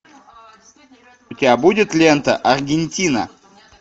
у тебя будет лента аргентина